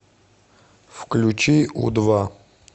включи у два